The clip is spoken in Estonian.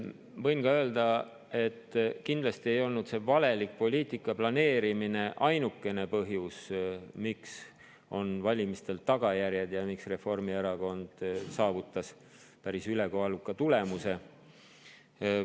Võin öelda, et kindlasti ei olnud see valeliku poliitika planeerimine ainukene põhjus, miks on valimistel tagajärjed ja miks Reformierakond saavutas päris ülekaaluka tulemuse.